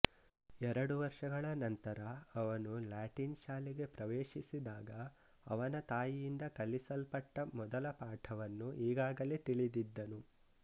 ಎರಡು ವರ್ಷಗಳ ನಂತರ ಅವನು ಲ್ಯಾಟಿನ್ ಶಾಲೆಗೆ ಪ್ರವೇಶಿಸಿದಾಗ ಅವನ ತಾಯಿಯಿಂದ ಕಲಿಸಲ್ಪಟ್ಟ ಮೊದಲ ಪಾಠವನ್ನು ಈಗಾಗಲೇ ತಿಳಿದಿದ್ದನು